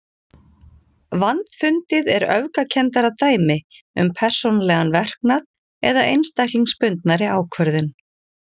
Vandfundið er öfgakenndara dæmi um persónulegan verknað eða einstaklingsbundnari ákvörðun.